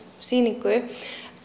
sýningu